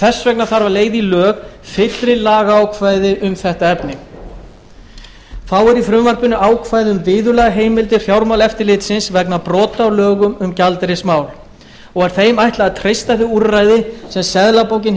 þess vegna þarf að leiða í lög fyllri lagaákvæði um þetta efni þá eru í frumvarpinu ákvæði um viðurlagaheimildir fjármálaeftirlitsins vegna brota á lögum um gjaldeyrismál og er þeim ætlað að treysta þau úrræði sem seðlabankinn